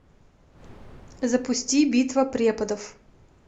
запусти битва преподов